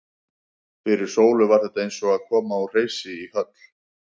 Fyrir Sólu var þetta eins og að koma úr hreysi í höll.